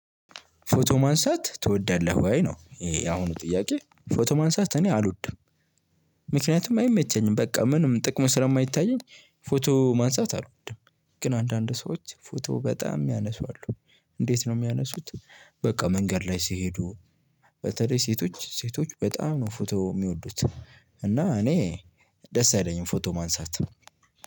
ፎቶ ማንሳት ትወዳለህ ወይ ነው? ይሄ ያሁኑ ጥያቄ ፎቶ ማንሳት እኔ አልወድም። ምክንያቱም አይመቸኝም በቃ ምንም ጥቅሙ ስለየማይታየኝ ፎቶ ማንሳት አልወድም። ግን አንዳንድ ሰዎች ፎቶ በጣም ሚያነሱ አሉ። እንዴት ነው የሚያነሱት? በቃ መንገድ ላይ ሲሄዱ። በተለይ ሴቶች ሴቶች በጣም ነው ፎቶ ሚወዱት። እና እኔ ደስ አይለኝም ፎቶ ማንሳት።